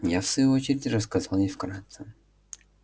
я в свою очередь рассказал ей вкратце